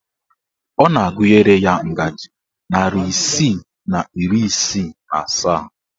Ọ na-agụnyere ya ngajị narị isii na iri isii na asaa